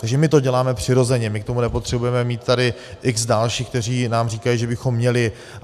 Takže my to děláme přirozeně, my k tomu nepotřebujeme mít tady x dalších, kteří nám říkají, že bychom měli.